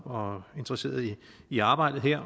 og interesseret i arbejdet her